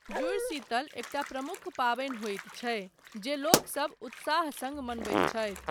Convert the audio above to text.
जुड़ शीतल एकटा प्रमुख पाबनि होइत छै, जे लोकसब उत्साह सङ्ग मनबैत छथि।